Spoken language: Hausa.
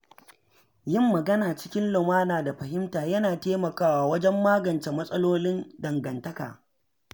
Yin magana cikin lumana da fahimta yana taimakawa wajen magance matsalolin dangantaka.